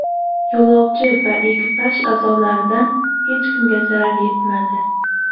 Yo‘lovchi va ekipaj a’zolaridan hech kimga zarar yetmadi.